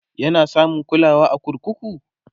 yana samun kulawa a kurkuku?